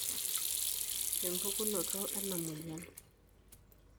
Empukunoto ena moyian.